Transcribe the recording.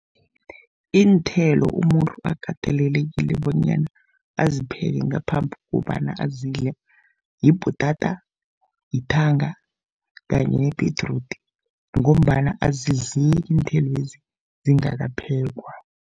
Iinthelo umuntu akatelelekile bonyana azipheke ngaphambi kobana azidle yibhutata, yithanga kanye nebhedrudi, ngombana azidleki iinthelwezi zingakaphekwa.